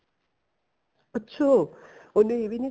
ਅੱਛਾ ਉਹਨੇ ਇਹ ਵੀ ਨੀ